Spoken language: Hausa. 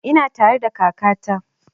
Ina tare da kaka ta